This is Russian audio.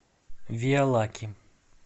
виалаки